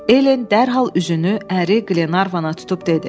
Elen dərhal üzünü əri Qlenarvana tutub dedi: